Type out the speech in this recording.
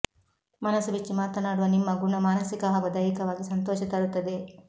ಮನಸ್ಸು ಬಿಚ್ಚಿ ಮಾತನಾಡುವ ನಿಮ್ಮ ಗುಣ ಮಾನಸಿಕ ಹಾಗೂ ದೈಹಿಕವಾಗಿ ಸಂತೋಷ ತರುತ್ತದೆ